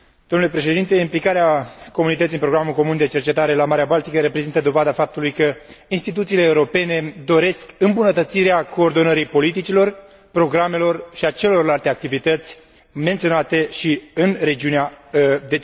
Implicarea Comunității în programul comun de cercetare la Marea Baltică reprezintă dovada faptului că instituțiile europene doresc îmbunătățirea coordonării politicilor, programelor și a celorlalte activități menționate în regiunea de cercetare.